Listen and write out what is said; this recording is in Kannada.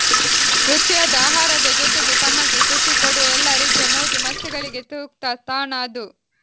ರುಚಿಯಾದ ಆಹಾರದ ಜೊತೆಗೆ ತಮಗೆ ಖುಷಿ ಕೊಡುವ ಎಲ್ಲಾ ರೀತಿಯ ಮೋಜು ಮಸ್ತಿಗಳಿಗೆ ಸೂಕ್ತ ತಾಣ ಅದು